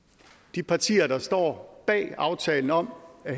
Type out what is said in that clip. de partier der står bag aftalen om at